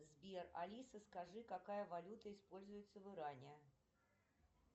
сбер алиса скажи какая валюта используется в иране